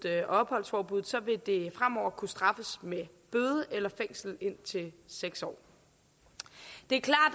og opholdsforbuddet vil det fremover kunne straffes med bøde eller fængsel indtil seks år det